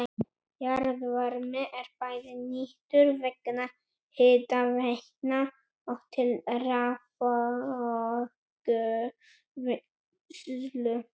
Jarðvarmi er bæði nýttur vegna hitaveitna og til raforkuvinnslu.